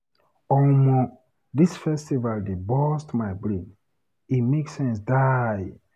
Omo dis festival dey burst my brain, e make sense die.